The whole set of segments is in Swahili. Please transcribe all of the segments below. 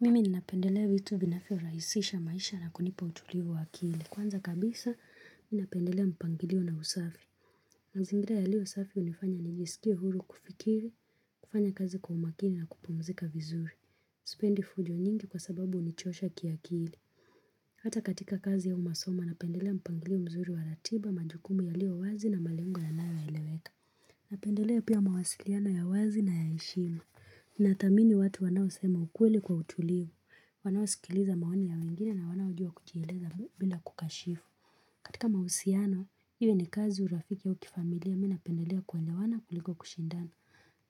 Mimi ninapendelea vitu vinavyorahisisha maisha na kunipa utulivu wa akili. Kwanza kabisa, mimi napendelea mpangilio na usafi. Mazingira yaliyo usafi hunifanya nijisikie huru kufikiri, kufanya kazi kwa umakini na kupumzika vizuri. Sipendi fujo nyingi kwa sababu hunichosha kiakili. Hata katika kazi au masoma, napendelea mpangilio mzuri wa ratiba, majukumu yaliyo wazi na malengo yanayoeleweka. Napendelea pia mawasiliano ya wazi na ya heshima. Nathamini watu wanao sema ukweli kwa utulivu, wanaosikiliza maoni ya wengine na wanao jua kujieleza bila kukashifu katika mahusiano, iwe ni kazi urafiki ya ukifamilia mimi napendelea kuelewana kuliko kushindana,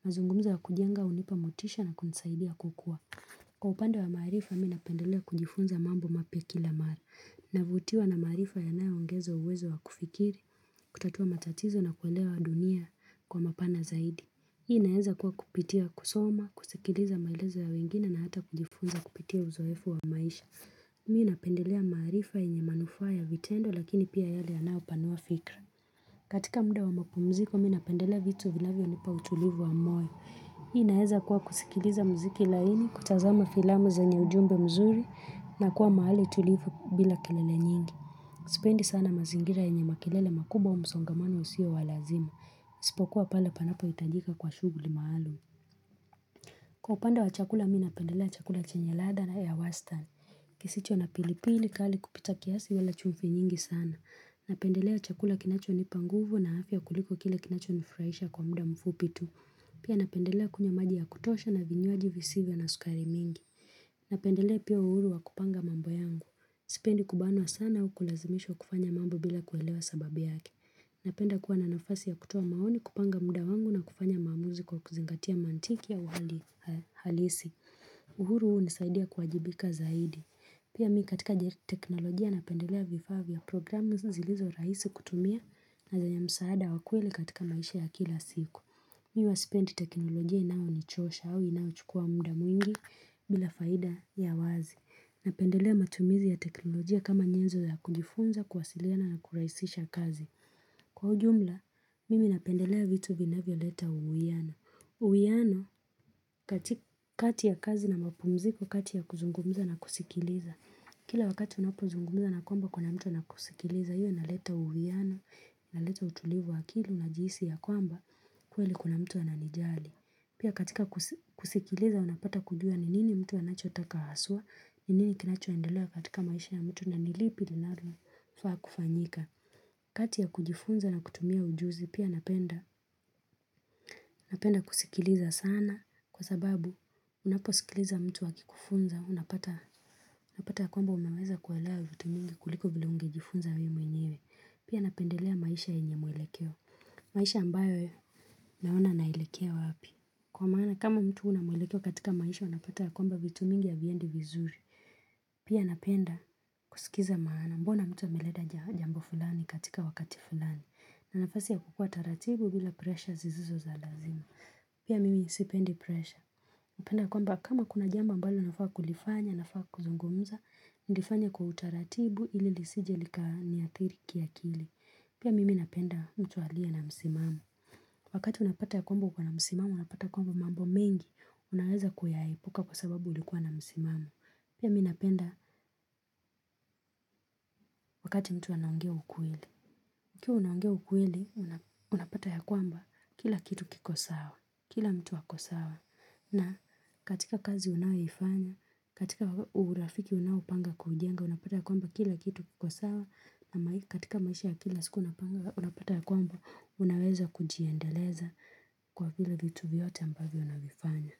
mazungumzo ya kujenga hunipa motisha na kunisaidia kukua Kwa upande wa maarifa mimi napendelea kujifunza mambo mapya kila mara, navutiwa na maarifa yanayoongeza uwezo wa kufikiri, kutatua matatizo na kuelewa dunia kwa mapana zaidi Hii inaeza kuwa kupitia kusoma, kusikiliza maelezo ya wengine na hata kujifunza kupitia uzoefu wa maisha. Mimi napendelea maarifa yenye manufaa ya vitendo lakini pia yale yanayopanua fikra. Katika muda wa mapumziko mimi napendelea vitu vinavyonipa utulivu wa moyo. Hii inaeza kuwa kusikiliza mziki laini, kutazama filamu zenye ujumbe mzuri na kuwa mahali tulivu bila kelele nyingi. Sipendi sana mazingira yenye makelele makubwa au msongamano usio walazima. Isipokuwa pale panapohitajika kwa shughuli maalum Kwa upande wa chakula mimi napendelea chakula chenye ladha au ya wastani kisicho na pili pili kali kupita kiasi wala chumvi nyingi sana Napendelea chakula kinacho nipa nguvu na afya kuliko kile kinacho nifurahisha kwa muda mfupi tu Pia napendelea kunywa maji ya kutosha na vinywaji visivyo na sukari mingi Napendelea pia uhuru wa kupanga mambo yangu Sipendi kubanwa sana au kulazimishwa kufanya mambo bila kuelewa sababu yake Napenda kuwa na nafasi ya kutoa maoni kupanga muda wangu na kufanya maamuzi kwa kuzingatia mantiki au hali halisi uhuru huu hunisaidia kuwajibika zaidi Pia mimi katika teknolojia napendelea vifaa vya programu zilizo rahisi kutumia na zenye msaada wa kweli katika maisha ya kila siku Mimi huwa sipendi teknolojia inayonichosha au inayochukua muda mwingi bila faida ya wazi Napendelea matumizi ya teknolojia kama nyenzo ya kujifunza kuwasiliana na kurahisisha kazi Kwa ujumla, mimi napendelea vitu vinavyoleta uwiano uwiano, katika kati ya kazi na mapumziko, kati ya kuzungumza na kusikiliza Kila wakati unapozungumza na kwamba kuna mtu anakusikiliza hiyo inaleta uwiano, inaleta utulivu wa akili najihisi ya kwamba kweli kuna mtu ananijali Pia katika kusikiliza unapata kujua ni nini mtu anachotaka haswa ni nini kinachoendelea katika maisha ya mtu na ni lipi linalofaa kufanyika kati ya kujifunza na kutumia ujuzi pia napenda, napenda kusikiliza sana kwa sababu unaposikiliza mtu akikufunza, unapata ya kwamba umeweza kuelewa vitu mingi kuliko vile ungejifunza wewe mwenyewe, pia napendelea maisha yenye mwelekeo, maisha ambayo naona naelekea wapi. Kwa maana kama mtu huna mwelekeo katika maisho, unapata ya kwamba vitu mingi haviendi vizuri. Pia napenda kusikiza maana mbona mtu ameleta jambo fulani katika wakati fulani. Na nafasi ya kukua taratibu bila pressure zizizo za lazima. Pia mimi sipendi pressure. Hupenda kwamba kama kuna jambo ambalo nilifaa kulifanya, nafaa kuzungumza, nilifanye kwa utaratibu ili lisije likaniathiri kiakili. Pia mimi napenda mtu aliye na msimamo. Wakati unapata ya kwamba uko na msimamo, unapata ya kwamba mambo mengi, unaweza kuyaepuka kwa sababu ulikuwa na msimamo. Pia mimi napenda wakati mtu anaongea ukweli. Ukiwa unaongea ukweli, unapata ya kwamba kila kitu kiko sawa, kila mtu ako sawa, na katika kazi unayoifanya, katika urafiki unaopanga kujenga, unapata ya kwamba kila kitu kiko sawa, na katika maisha ya kila siku unapanga, unapata ya kwamba, unaweza kujiendeleza kwa vile vitu vyote ambavyo unavifanya.